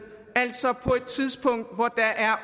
altså på et tidspunkt hvor der er